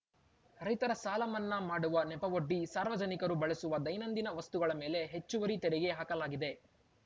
ರೈತರ ಸಾಲ ಮನ್ನಾ ಮಾಡುವ ನೆಪವೊಡ್ಡಿ ಸಾರ್ವಜನಿಕರು ಬಳಸುವ ದೈನಂದಿನ ವಸ್ತುಗಳ ಮೇಲೆ ಹೆಚ್ಚುವರಿ ತೆರಿಗೆ ಹಾಕಲಾಗಿದೆ